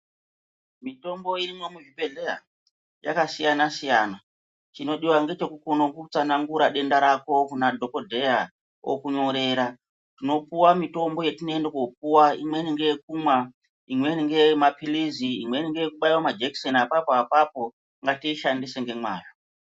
Mitombo irimwo muzvibhedhleya yakasiyana-siyana, chinodiwa ngechekukoone kutsanangura denda rako kuna dhokodheya, okunyorera. Tinopuwa mitombo yetinoende koopuwa, imweni ngeyekumwa imweni ngeyemaphilizi , imweni ngeyekubaiwa majekiseni apapo apapo. Ngatiishandise nemwazvo.